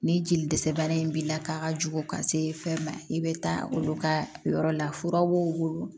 Ni jeli dɛsɛ bana in b'i la k'a ka jugu ka se fɛn ma i bɛ taa olu ka yɔrɔ la fura b'u wolo